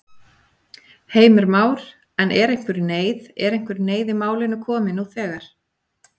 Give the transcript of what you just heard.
Heimir Már: En er einhver neyð, er einhver neyð í málinu komin nú þegar?